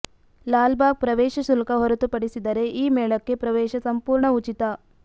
ಲಾಲ್ಬಾಗ್ ಪ್ರವೇಶ ಶುಲ್ಕ ಹೊರತುಪಡಿಸಿದರೆ ಈ ಮೇಳಕ್ಕೆ ಪ್ರವೇಶ ಸಂಪೂರ್ಣ ಉಚಿತ